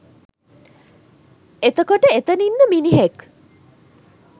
එතකොට එතන ඉන්න මිනිහෙක්